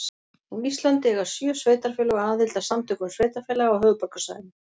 Á Íslandi eiga sjö sveitarfélög aðild að Samtökum sveitarfélaga á höfuðborgarsvæðinu.